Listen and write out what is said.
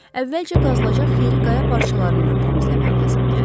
Əvvəlcə qazılacaq yeri qaya parçalarından təmizləmək lazım gəldi.